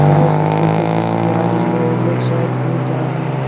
नाव से फोटो खींची जा रही है ये लोग शायद कहीं जा रहे हैं।